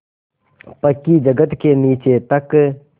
पक्की जगत के नीचे तक